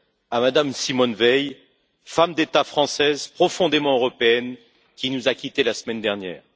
à Mme Simone Veil, femme d'État française, profondément européenne, qui nous a quittés la semaine dernière.